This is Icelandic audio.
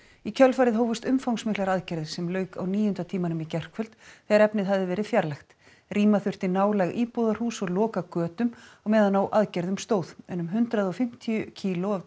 í kjölfarið hófust umfangsmiklar aðgerðir sem lauk á níunda tímanum í gærkvöld þegar efnið hafði verið fjarlægt rýma þurfti nálæg íbúðarhús og loka götum á meðan á aðgerðum stóð en um hundrað og fimmtíu kíló af